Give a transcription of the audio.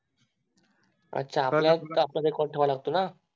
अच्छा आपल्याला सुद्धा Record ठेवावा लागतो ना